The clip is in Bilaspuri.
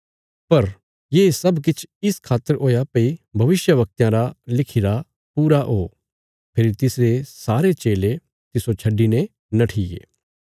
पर ये सब किछ इस खातर हुया भई भविष्यवक्तयां रा लिखिरा पूरा ओ फेरी तिसरे सारे चेले तिस्सो छड्डिने नट्ठीये